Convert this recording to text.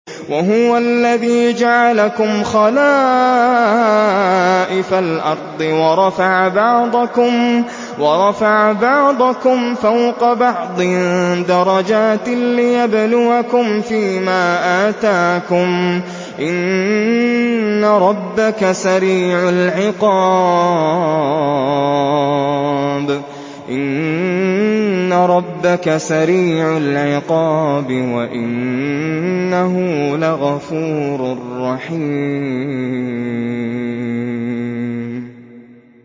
وَهُوَ الَّذِي جَعَلَكُمْ خَلَائِفَ الْأَرْضِ وَرَفَعَ بَعْضَكُمْ فَوْقَ بَعْضٍ دَرَجَاتٍ لِّيَبْلُوَكُمْ فِي مَا آتَاكُمْ ۗ إِنَّ رَبَّكَ سَرِيعُ الْعِقَابِ وَإِنَّهُ لَغَفُورٌ رَّحِيمٌ